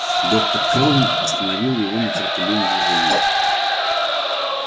доктор кэлвин остановила его нетерпеливым движением